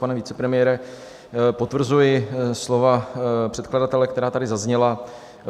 Pane vicepremiére, potvrzuji slova předkladatele, která tady zazněla.